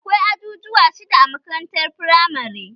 Akwai ajujuwa shidda a makarantar firamare